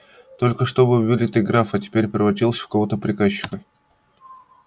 только что был вылитый граф а теперь превратился в какого-то приказчика